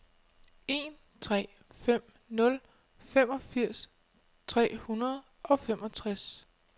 en tre fem nul femogfirs tre hundrede og femogtres